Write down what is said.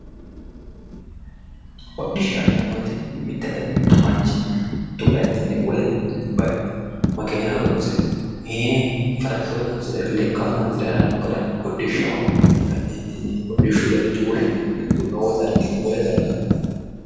hodhishshaho yineemmowoyite mittu manchi mittu bayichinni wole bayicho makeena horoonsire farashsho horoonsire lekka horoonsire harano gara hodhishshaho yine ka'neentinni hodhishshu garinni woshshineemmo mittu noo darginni wole darga harannoha.